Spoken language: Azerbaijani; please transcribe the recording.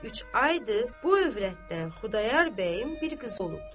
İndi üç aydır, bu övrətdən Xudayar bəyin bir qızı olubdu.